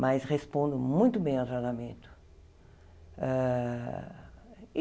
Mas respondo muito bem ao tratamento. Ah